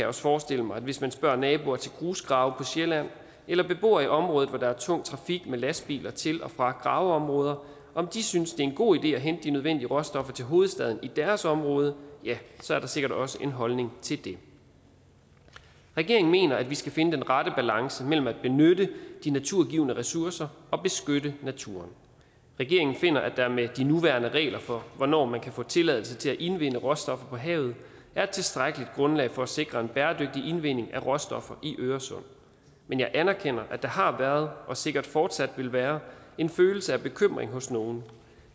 også forestille mig at hvis man spørger naboer til grusgrave på sjælland eller beboere i områder hvor der er tung trafik med lastbiler til og fra graveområder om de synes det er en god idé at hente de nødvendige råstoffer til hovedstaden i deres område er der sikkert også en holdning til det regeringen mener at vi skal finde den rette balance mellem at benytte de naturgivne ressourcer og beskytte naturen regeringen finder at der med de nuværende regler for hvornår man kan få tilladelse til at indvinde råstoffer på havet er et tilstrækkeligt grundlag for at sikre en bæredygtig indvinding af råstoffer i øresund men jeg anerkender at der har været og sikkert fortsat vil være en følelse af bekymring hos nogle